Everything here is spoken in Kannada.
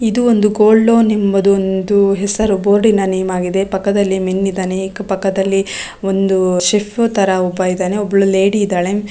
ಇದು ಒಂದು ಗೋಲ್ಡ್ ಲೋನ್ ಎಂಬ ಹೆಸರು ಬೋರ್ಡಿನ್ ನೇಮ್ ಆಗಿದೆ .ಪಕ್ಕದಲ್ಲಿ ಮೆನ್ ಇದಾನೆ .ಪಕ್ಕದಲಿ ಒಬ್ಬ ಶೆಫ್ ತರ ಇದಾನೆ ಒಬ್ಬ ಲೇಡಿ ಇದಾಳೆ .